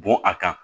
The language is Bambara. Bɔn a kan